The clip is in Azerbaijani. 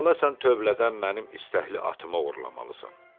Əvvəla sən tövlədən mənim istəkli atımı oğurlamalısan.